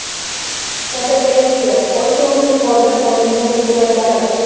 Fotogalereya: Osiyoning yuqoridan olingan suratlari .